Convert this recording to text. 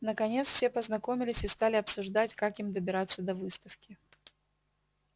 наконец все познакомились и стали обсуждать как им добираться до выставки